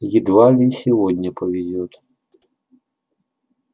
едва ли и сегодня повезёт